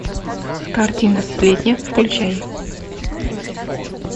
картина сплетни включай